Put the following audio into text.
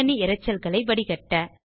பின்னணி இரைச்சல்களை வடிகட்ட